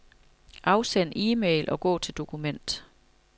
Afsend e-mail og gå til dokument.